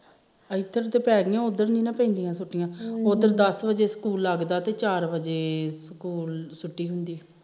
ਇਧਰ ਤੇ ਪੈ ਗੀਆਂ ਉਧਰ ਨੀ ਨਾ ਪੈਂਦੀਆਂ ਛੁਟੀਆਂ ਉਧਰ ਦਸ ਬਜੇ ਸਕੂਲ ਲੱਗਦਾ ਤੇ ਚਾਰ ਬਜੇ ਸਕੂਲ ਛੁਟੀ ਹੁੰਦੀ